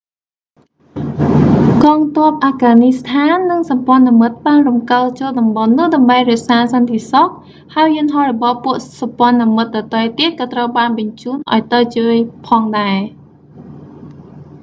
កងទ័ពអាហ្វហ្គនីស្ថាន និងសម្ព័ន្ថមិត្តបានរំកិលចូលតំបន់នោះដើម្បីរក្សាសន្តិសុខ ហើយយន្តហោះរបស់ពួកសម្ព័ន្ធមិត្តដទៃទៀតក៏ត្រូវបានបញ្ជូនឱ្យទៅជួយផងដែរ